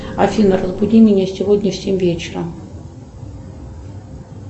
афина разбуди меня сегодня в семь вечера